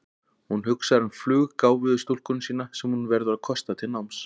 Hún hugsar um fluggáfuðu stúlkuna sína sem hún verður að kosta til náms.